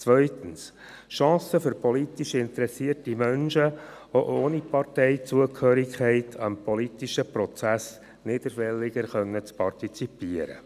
Zweitens: Chancen für politisch interessierte Menschen, auch ohne Parteizugehörigkeit, am politischen Prozess niederschwelliger zu partizipieren.